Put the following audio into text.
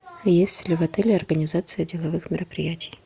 есть ли в отеле организация деловых мероприятий